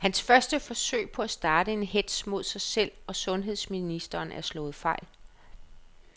Hans første forsøg på at starte en hetz mod sig selv og sundheds ministeren er slået fejl.